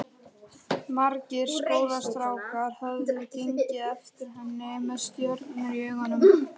Margir skólastrákar höfðu gengið eftir henni með stjörnur í augum.